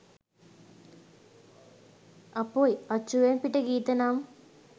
අපොයි අච්චුවෙන් පිට ගීත නම්